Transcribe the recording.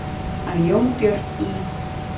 Hann Jónbjörn í